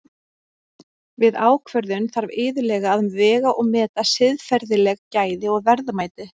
Við ákvörðun þarf iðulega að vega og meta siðferðileg gæði og verðmæti.